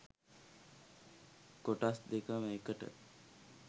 කොටස් දෙකම එකට.